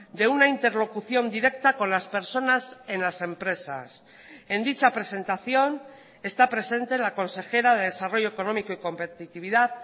de una interlocución directa con las personas en las empresas en dicha presentación está presente la consejera de desarrollo económico y competitividad